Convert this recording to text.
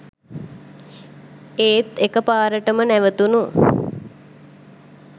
ඒත් එක පාරටම නැවතුනු